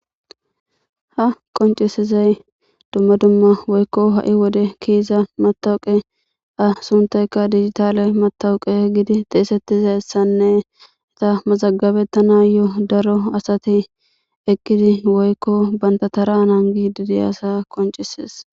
Ha qoncisizay dumma dumma woykko ha7i wode kiiza matawaqa a suntayka dijjitale matawaqa gidi xeesettizayssanne iza mazagabetanayo daro asati eqqidi woykko banta tara nangidi diiyasa qoncises.